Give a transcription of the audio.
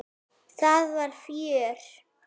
Það var fjör.